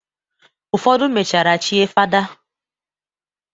Ụfodụ mechara chie fada.